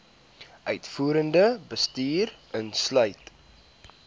uitvoerende bestuur insluit